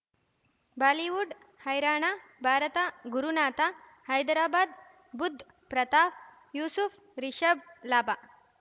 Bollywood ಹೈರಾಣ ಭಾರತ ಗುರುನಾಥ ಹೈದರಾಬಾದ್ ಬುಧ್ ಪ್ರತಾಪ್ ಯೂಸುಫ್ ರಿಷಬ್ ಲಾಭ